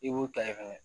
I b'u ta ye fɛnɛ